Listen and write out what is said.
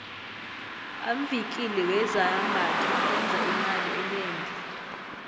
amvikili wezambatho enza imali enengi